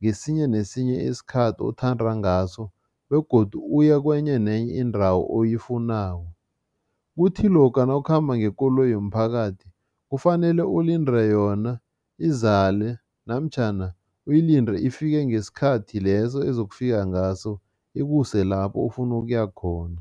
ngesinye nesinye isikhathi othanda ngaso begodu uye kwenye nenye indawo oyifunako. Kuthi lokha nawukhamba ngekoloyi yomphakathi, kufanele ulinde yona izale namtjhana uyilinde ifike ngesikhathi leso ezokufika ngaso, ikuse lapho ofuna ukuya khona.